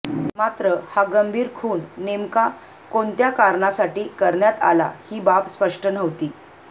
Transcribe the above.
मात्र हा गंभीर खून नेमका कोणता करण्यासाठी करण्यात आला ही बाब स्पष्ट नव्हती